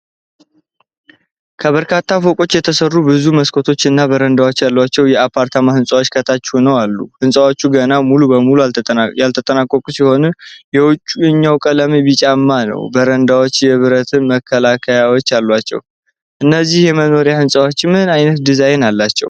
ከበርካታ ፎቆች የተሠሩ፣ ብዙ መስኮቶችና በረንዳዎች ያላቸው የአፓርታማ ሕንጻዎች ከታች ሆነው አሉ። ሕንጻዎቹ ገና ሙሉ በሙሉ ያልተጠናቀቁ ሲሆን፣ የውጨኛው ቀለም ቢጫማ ነው። በረንዳዎቹ የብረት መከለያዎች አሏቸው። ። እነዚህ የመኖሪያ ሕንጻዎች ምን ዓይነት ዲዛይን አላቸው?